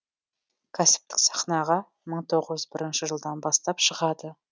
кәсіптік сахнаға мың тоғыз жүз бірінші жылдан бастап шығады